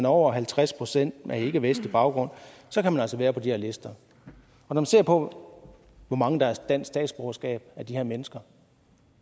over halvtreds procent med ikkevestlig baggrund så kan man altså være på de her lister når man ser på hvor mange der har dansk statsborgerskab af de her mennesker